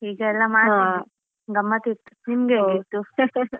ಹೀಗೆಲ್ಲಾ ಮಾಡ್ತಿದ್ವಿ ಗಮ್ಮತಿತ್ತು ನಿಮ್ಗೆ ಹೇಗಿತ್ತು?